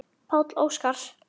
Páll Óskar.